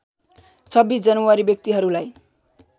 २६ जनवरी व्यक्तिहरूलाई